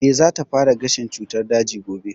Eh, za ta fara gashin cutar daji gobe